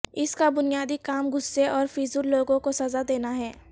اس کا بنیادی کام غصے اور فضول لوگوں کو سزا دینا ہے